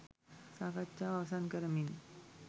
සාකච්ඡාව අවසන් කරමින්